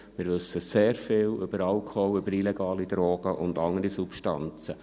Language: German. Wir wissen sehr viel über Alkohol, über illegale Drogen und andere Substanzen.